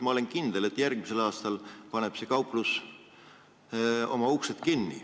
Ma olen kindel, et järgmisel aastal paneb see kauplus oma uksed kinni.